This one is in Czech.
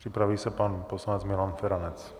Připraví se pan poslanec Milan Feranec.